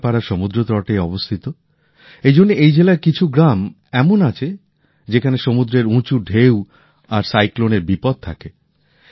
কেন্দ্রাপাড়া সমুদ্রতটে অবস্থিত এই জন্য এই জেলার কিছু গ্রাম এমন আছে যেখানে সমুদ্রের উঁচু ঢেউ আর ঘূর্ণিঝড়ের বিপদ থাকে